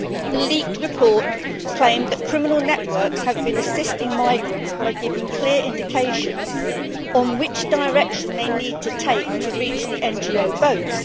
The leaked report claimed criminal networks have been assisting migrants by giving clear indications on which direction they need to take to reach the NGO boats.